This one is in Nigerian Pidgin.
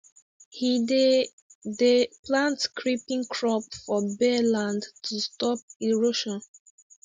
he dey dey plant creeping crop for bare land to stop erosion